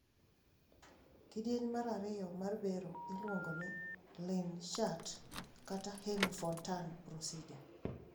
Kidieny mar ariyo mar bero iluongo ni Glenn shunt kata hemi Fontan procedure.